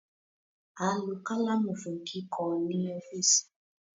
A lo kalamu fun kikọ ni ọfiisi